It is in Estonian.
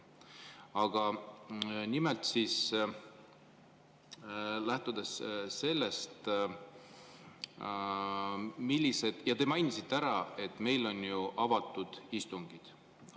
Aga lähtudes sellest, et te mainisite, et meil on ju avatud istungid.